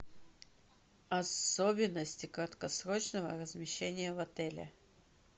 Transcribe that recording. особенности краткосрочного размещения в отеле